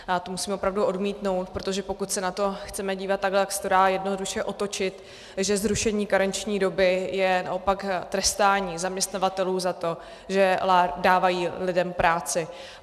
To musím opravdu odmítnout, protože pokud se na to chceme dívat takhle, tak se to dá jednoduše otočit, že zrušení karenční doby je naopak trestání zaměstnavatelů za to, že dávají lidem práci.